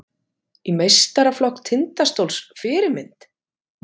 Í meistaraflokk Tindastóls Fyrirmynd?